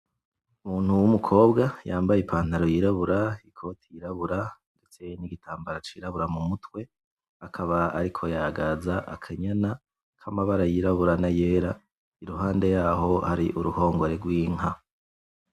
Umuntu wumukobwa yambaye ipantaro yirabura ikoti yirabura ndetse nigitambara cirabura mumutwe, akaba ariko yagaza akanyana kamabara yirabura nayera ,iruhande yaho hari uruhongore rwinka .